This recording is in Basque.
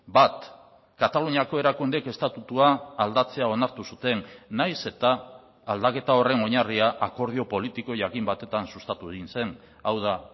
bat kataluniako erakundeek estatutua aldatzea onartu zuten nahiz eta aldaketa horren oinarria akordio politiko jakin batetan sustatu egin zen hau da